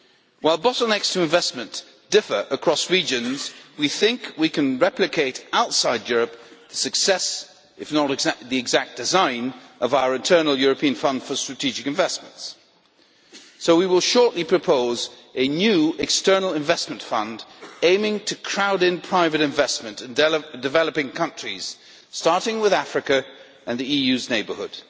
While bottlenecks to investment differ across regions, we think we can replicate outside Europe the success, if not the exact design, of our internal European Fund for Strategic Investments, so we will shortly propose a new external investment fund aiming to crowd in private investment in developing countries starting with Africa and the EU's neighbourhood.